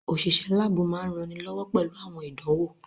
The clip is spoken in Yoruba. Òṣìṣẹ́ láàbù máa ń ranilọ́wọ́ pẹ̀lú àwọn ìdánwò